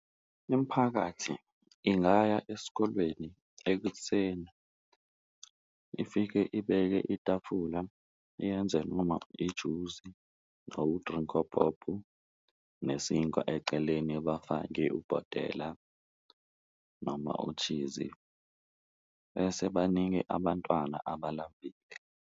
Imiphakathi ingaya esikolweni ekuseni ifike ibeke itafula iyenze noma ijuzi or u-Drink-O-Pop nesinkwa eceleni, bafake ubhotela noma u-cheese-i bese banike abantwana abalambile.